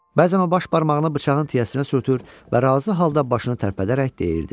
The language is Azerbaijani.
Bəzən o baş barmağını bıçağın tiyəsinə sürtür və razı halda başını tərpədərək deyirdi: